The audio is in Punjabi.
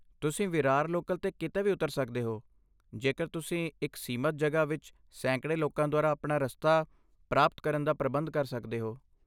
ਤੁਸੀਂ ਵਿਰਾਰ ਲੋਕਲ 'ਤੇ ਕਿਤੇ ਵੀ ਉਤਰ ਸਕਦੇ ਹੋ ਜੇਕਰ ਤੁਸੀਂ ਇੱਕ ਸੀਮਤ ਜਗ੍ਹਾ ਵਿੱਚ ਸੈਂਕੜੇ ਲੋਕਾਂ ਦੁਆਰਾ ਆਪਣਾ ਰਸਤਾ ਪ੍ਰਾਪਤ ਕਰਨ ਦਾ ਪ੍ਰਬੰਧ ਕਰ ਸਕਦੇ ਹੋ।